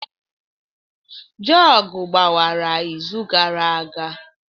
Jugu gbawara izu gara aga.